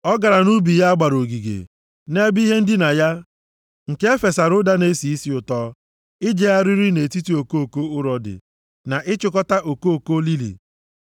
Ọ gara nʼubi ya a gbara ogige, nʼebe ihe ndina ya nke e fesara ụda na-esi isi ụtọ, ijegharị nʼetiti okoko urodi, na ịchịkọta okoko lili.